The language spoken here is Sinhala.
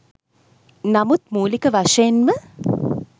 නමුත් මුලික වශයෙන්ම